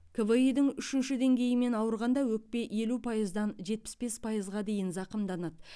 кви дің үшінші деңгейімен ауырғанда өкпе елу пайыздан жетпіс бес пайызға дейін зақымданады